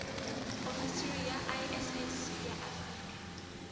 ofisi ya iss ya afrika